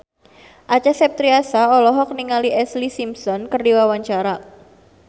Acha Septriasa olohok ningali Ashlee Simpson keur diwawancara